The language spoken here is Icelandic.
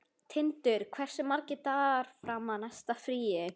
Tindur, hversu margir dagar fram að næsta fríi?